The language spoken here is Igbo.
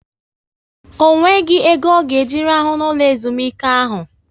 Ọ nweghị ego ọ ga eji rahụ n'ụlọ ezumike ahu